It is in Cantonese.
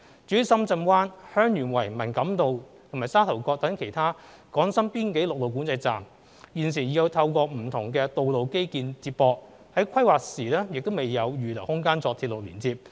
至於深圳灣、香園圍、文錦渡和沙頭角等其他港深邊境陸路管制站，現時已透過不同道路基建接駁，在規劃時亦未有預留空間作鐵路連接。